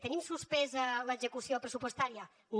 tenim suspesa l’execució pressupostària no